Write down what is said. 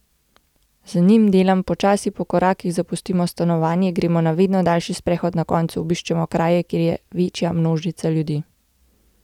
Z njimi delam počasi, po korakih zapustimo stanovanje, gremo na vedno daljši sprehod, na koncu obiščemo kraje, kjer je večja množica ljudi.